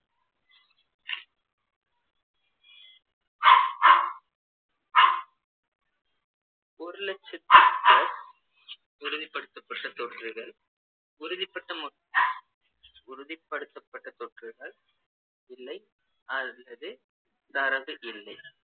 ஒரு லட்சத்துக்கு மேல் உறுதிப்படுத்தப்பட்ட தொற்றுகள் உறுதிப்பட்ட மக்~ உறுதிப்படுத்தப்பட்ட தொற்றுகள் இல்லை அல்லது தரவு இல்லை